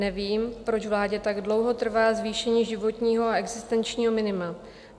Nevím, proč vládě tak dlouho trvá zvýšení životního a existenčního minima.